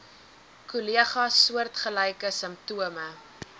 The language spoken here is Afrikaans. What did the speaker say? kollegas soortgelyke simptome